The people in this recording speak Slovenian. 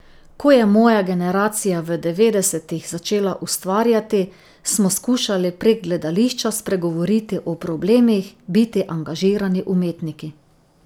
Ko je moja generacija v devetdesetih začela ustvarjati, smo skušali prek gledališča spregovoriti o problemih, biti angažirani umetniki.